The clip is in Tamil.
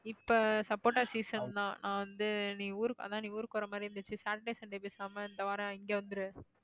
இப்ப சப்போட்டா season தான் நான் வந்து நீ ஊருக்கு அதான் நீ ஊருக்கு வர மாதிரி இருந்துச்சு சாட்டர்டே சண்டே பேசாம இந்த வாரம் இங்க வந்துரு